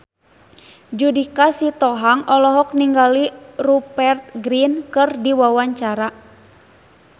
Judika Sitohang olohok ningali Rupert Grin keur diwawancara